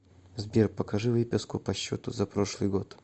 сбер покажи выписку по счету за прошлый год